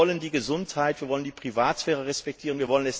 Wir wollen die Gesundheit schützen und die Privatsphäre respektieren.